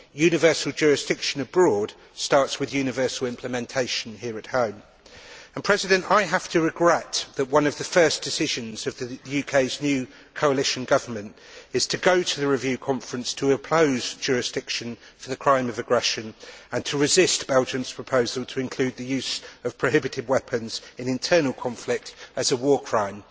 Universal jurisdiction abroad starts with universal implementation here at home and, Madam President, I have to regret that one of the first decisions of the UK's new coalition government is to go to the review conference to oppose jurisdiction for the crime of aggression and to resist Belgium's proposal to include the use of prohibited weapons in internal conflict as a war crime.